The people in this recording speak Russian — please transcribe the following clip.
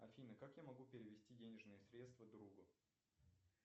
афина как я могу перевести денежные средства другу